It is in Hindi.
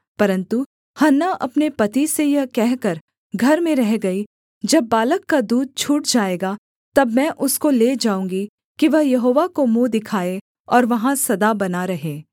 परन्तु हन्ना अपने पति से यह कहकर घर में रह गई जब बालक का दूध छूट जाएगा तब मैं उसको ले जाऊँगी कि वह यहोवा को मुँह दिखाए और वहाँ सदा बना रहे